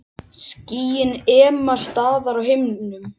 Skýin ema staðar á himnum.